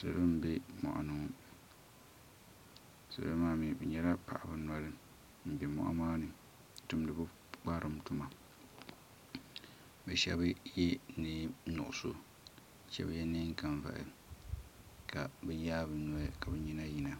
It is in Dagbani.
Salo m be moɣuni salo maa mee bɛ nyɛla paɣaba noli m be moɣu maani n tumdi bɛ pukparilim tuma bɛ sheba ye niɛn nuɣuso ka sheba ye niɛn kanvahi ka bɛ yaagi bɛ noli ka bɛ nyina yina.